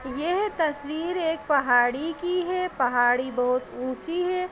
येह तस्वीर एक पहाड़ी की है | पहाड़ी बोहुत ऊँची है।